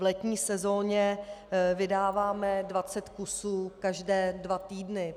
V letní sezóně vydáváme 20 kusů každé dva týdny.